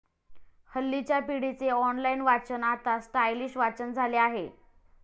हल्लीच्या पिढीचे ऑनलाइन वाचन आता स्टायलिश वाचन झाले आहे.